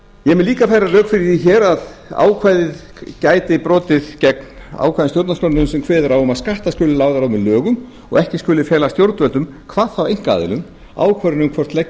mun líka færa rök fyrir því hér að ákvæðið gæti brotið gegn ákvæðum stjórnarskrárinnar sem kveður á um að skattar skuli lagðir á með lögum og að ekki skuli fela stjórnvöldum hvað þá einkaaðilum ákvörðun um hvort leggja